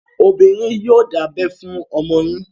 Obìnrin yìí yòò dábẹ fún ọmọ yín.